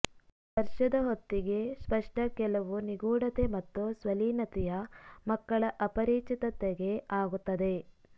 ವರ್ಷದ ಹೊತ್ತಿಗೆ ಸ್ಪಷ್ಟ ಕೆಲವು ನಿಗೂಢತೆ ಮತ್ತು ಸ್ವಲೀನತೆಯ ಮಕ್ಕಳ ಅಪರಿಚಿತತೆಗೆ ಆಗುತ್ತದೆ